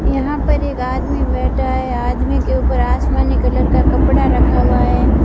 यहां पर एक आदमी बैठा है आदमी के ऊपर आसमानी कलर का कपड़ा रखा हुआ है।